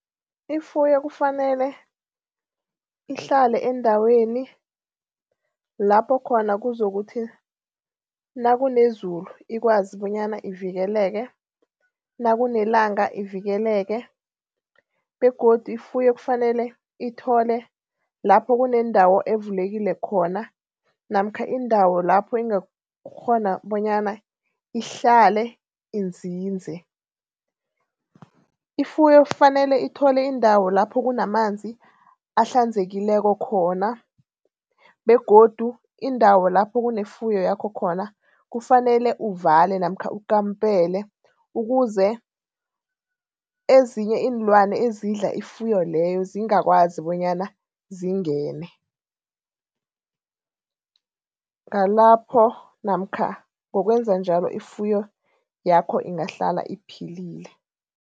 Ifuyo kufanele ihlale endaweni lapho khona kuzokuthi nakunezulu ikwazi bonyana ivikeleke nakunelanga ivikeleke begodu ifuyo kufanele ithole lapho kunendawo evulekile khona namkha indawo lapho ingakghona bonyana ihlale inzinze. Ifuyo kufanele ithole indawo lapho kunamanzi ahlanzekileko khona begodu indawo lapho kunefuyo yakho khona kufanele uvale namkha ukampele ukuze ezinye iinlwana ezidla ifuyo leyo zingakwazi bonyana zingene. Nalapho namkha ngokwenza njalo ifuyo yakho ingahlala iphilile.